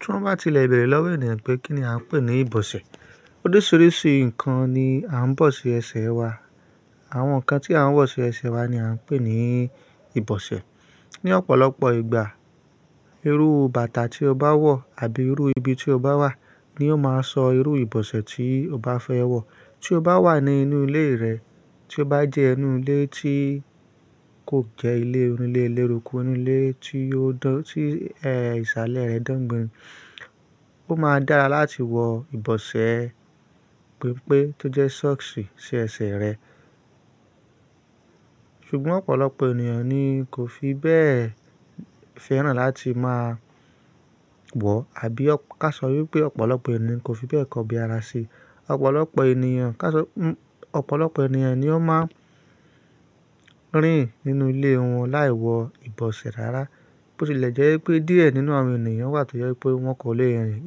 Tí wọ́n bá ti lẹ béèrè lọ́wọ́ ènìyàn pé kí ni a ń pè ní ìbọ̀ṣẹ̀? Oríṣiríṣi nǹkan ni a ń bọ̀ sí ẹsẹ̀ wa. Àwọn nǹkan tí a ń bọ̀ sí ẹsẹ̀ wa ni a ń pè ní ìbọ̀ṣẹ̀. Ni ọ̀pọ̀lọpọ̀ ìgbà, irú bàtà tí o bá wọ̀ àbí irú ibi tí o bá wà ní yóò máa sọ irú ìbọ̀ṣẹ̀ tí o bá fẹ́ wọ̀. Tí o bá wà ní inú ilé rẹ, tí ó bá jẹ́ inu ilé tí kò jẹ́ ilé onílé eléruku, ínu ilé tí o dán, tí ẹ́ ìsàlẹ̀ rẹ̀ dán gban, ó máa dára láti wọ ìbọ̀ṣẹ̀ pípé tó jẹ́ socks sí ẹsẹ̀ rẹ. Ṣùgbọ́n ọ̀pọ̀lọpọ̀ ènìyàn ni kò fi bẹ́ẹ̀ fẹ́ràn láti máa wọ̀, àbí ká sọ wípé ọ̀pọ̀lọpọ̀ ènìyàn kò fi bẹ́ẹ̀ kọbi ara ṣe. Ọ̀pọ̀lọpọ̀ ènìyàn, ká sọ, ọ̀pọ̀lọpọ̀ ènìyàn ni ó máa ń rìn nínú ilé wọn láì wọ ìbọ̀ṣẹ̀ rárá. Bó tilẹ̀ jẹ́ wípé díẹ̀ nínú àwọn ènìyàn wà tó jẹ wípé wọ́n kò le rìn,